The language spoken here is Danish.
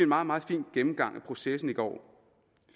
meget meget fin gennemgang af processen i går og